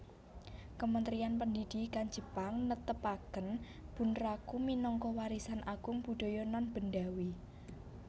Kementerian Pendidikan Jepang netepaken bunraku minangka Warisan Agung Budaya Nonbendawi